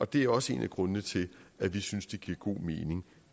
det er også en af grundene til at vi synes det giver god mening